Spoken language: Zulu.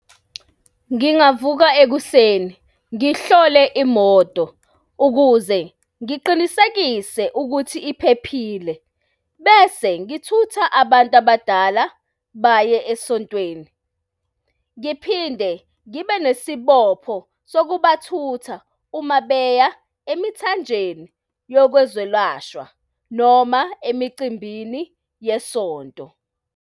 Ngingavuka ekuseni ngihlole imoto ukuze ngiqinisekise ukuthi iphephile, bese ngithutha abantu abadala baye esontweni. Ngiphinde ngibe nesibopho sokubathutha uma beya emithanjeni yokwezolashwa noma emicimbini yesonto.